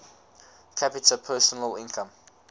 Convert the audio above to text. capita personal income